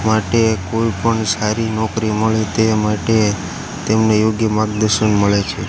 માટે કોઈ પણ સારી નોકરી મળે તે માટે તેમને યોગ્ય માગ્દર્શન મળે છે.